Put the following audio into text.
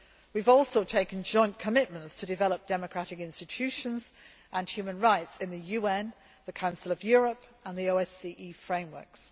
We have also taken joint commitments to develop democratic institutions and human rights in the UN, the Council of Europe and the OSCE frameworks.